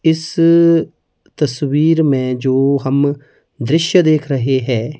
इस तस्वीर में जो हम दृश्य देख रहे हैं।